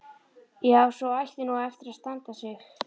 Já, sú ætti nú eftir að standa sig.